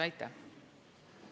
Aitäh!